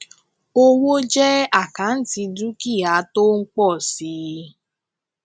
owó jẹ àkáǹtì dúkìá jẹ àkáǹtì dúkìá tó ń pọ si